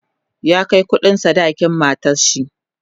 ya Kai kuɗin sadakin matanshi